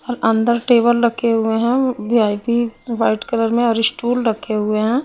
और अंदर टेबल लखे हुए हैं व्ही_आई_पी व्हाईट कलर में और स्टूल रखे हुए हैं।